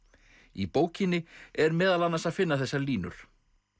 í bókinni er meðal annars að finna þessar línur